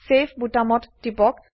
save বোতামত টিপক